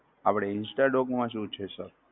આપણે instadoc માં શું છે? sir